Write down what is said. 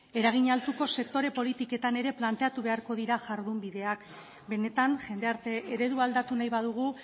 eragin altuko sektore politiketan ere planteatu beharko dira jardunbideak benetan jendarte eredua aldatu nahi badugu